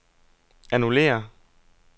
annullér